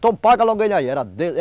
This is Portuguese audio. Então paga logo ele aí. era